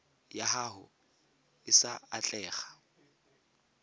ya gago e sa atlega